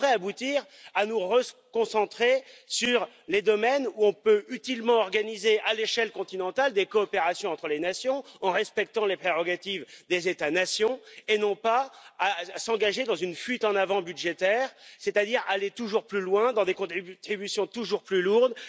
Cela devrait aboutir à nous reconcentrer sur les domaines où on peut utilement organiser à l'échelle continentale des coopérations entre les nations, en respectant les prérogatives des États nations et non pas à nous engager dans une fuite en avant budgétaire, c'est à dire aller toujours plus loin dans des contributions toujours plus lourdes